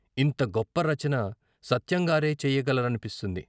ఇంత గొప్ప రచన సత్యంగారే చెయ్యగల రనిపిస్తుంది.